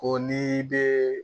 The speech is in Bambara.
Ko n'i bɛ